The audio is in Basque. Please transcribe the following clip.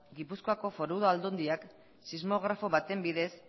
gipuzkoako foru aldundiak sismografo baten bidez